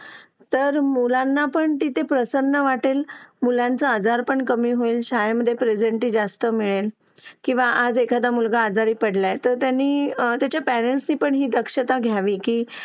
Late होतं सर्दी खोकला हा एक वाढलं आहे. एका मुलाला क्लास पूर्ण क्लास त्याच्यामध्ये वाहून निघत निघत असतो असं म्हणायला हरकत नाही. हो डेंग्यू, मलेरिया यासारखे आजार पण ना म्हणजे लसीकरण आहे. पूर्ण केले तर मला नाही वाटत आहे रोप असू शकतेपुडी लसीकरणाबाबत थोडं पालकांनी लक्ष दिलं पाहिजे की आपला मुलगा या वयात आलेला आहे. आता त्याच्या कोणत्या लसी राहिलेले आहेत का?